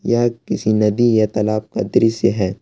यह किसी नदी या तालाब का दृश्य है।